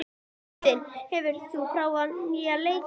Edvin, hefur þú prófað nýja leikinn?